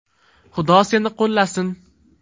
Xudo seni qo‘llasin.